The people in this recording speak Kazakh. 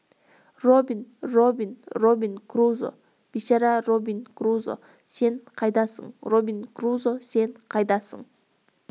робин робин робин крузо бейшара робин крузо сен қайдасың робин крузо сен қайдасың